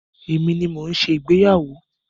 Èmi ni mo ń ṣe ìgbéyàwó.